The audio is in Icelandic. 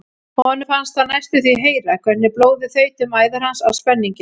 Honum fannst hann næstum því heyra hvernig blóðið þaut um æðar hans af spenningi.